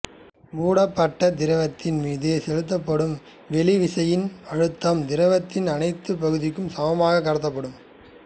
மூடப்பட்ட திரவத்தின் மீது செலுத்தப்படும் வெளி விசையின் அழுத்தம் திரவத்தின் அனைத்துப் பகுதிக்கும் சமமாகக் கடத்தப்படும்